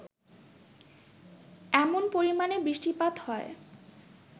এমন পরিমাণে বৃষ্টিপাত হয়